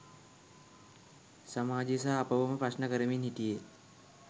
සමාජය සහ අපවම ප්‍රශ්න කරමින් හිටියේ.